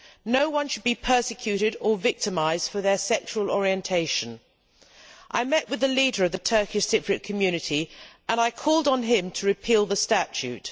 No one should be persecuted or victimised for their sexual orientation. I met with the leader of the Turkish Cypriot community and I called on him to repeal the statute.